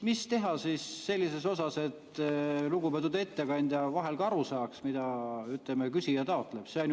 Mis teha siis sellises osas, et lugupeetud ettekandja vahel ka aru saaks, mida küsija taotleb?